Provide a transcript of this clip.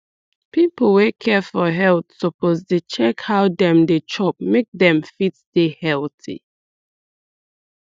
people wey care for health suppose dey check how dem dey chop make dem fit dey healthy